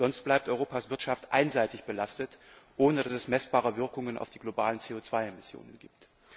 Sonst bleibt Europas Wirtschaft einseitig belastet, ohne dass es messbare Auswirkungen auf die globale CO 2 Emmission gibt.